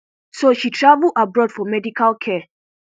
so she travel abroad for medical care